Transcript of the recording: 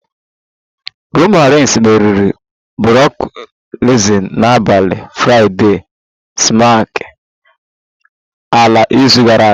Roman reigns meriri brock lesnar n'abalị Fraịdee smack ala n'izu gara aga